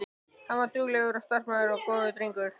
Hann var duglegur, starfsamur og góður drengur.